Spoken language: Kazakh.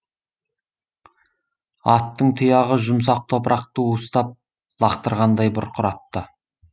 аттың тұяғы жұмсақ топырақты уыстап лақтырғандай бұрқыратты